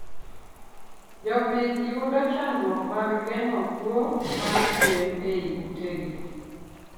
Jopith yudo chanduok mag gengo kuo mr gwen eiy ute gi